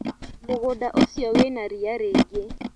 Mũgũnda ũcio wĩna ria rĩingĩ.